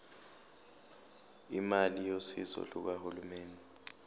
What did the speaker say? imali yosizo lukahulumeni